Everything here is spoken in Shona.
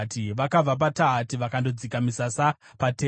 Vakabva paTahati vakandodzika misasa paTera.